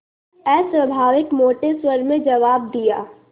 अस्वाभाविक मोटे स्वर में जवाब दिया